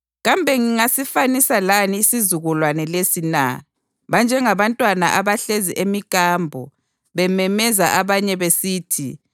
Kambe ngingasifanisa lani isizukulwane lesi na? Banjengabantwana abahlezi emikambo bememeza abanye besithi: